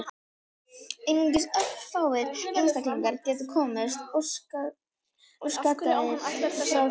Einungis örfáir einstaklingar geti komist óskaddaðir frá því.